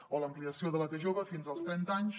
o l’ampliació de la t jove fins als trenta anys